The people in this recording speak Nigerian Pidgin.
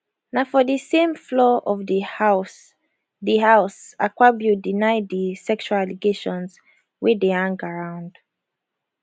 na for di same floor of di house di house akpabio deny di sexual allegations wey dey hang around